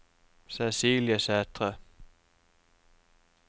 Cecilie Sætre